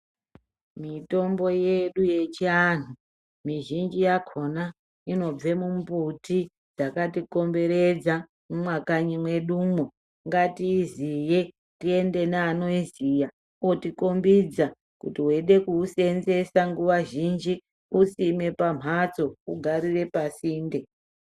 Mitombo yedu yechiandu mizhinji yakona inobva mumbuti dzakati komberedza mumakanyi mwedumo tizive tiende neanoiziva vandotikombidza nguwa zhinji wosima pambatso wogara pambatso.